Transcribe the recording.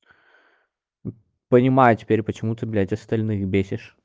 понимаю теперь почему ты блять остальных бесишь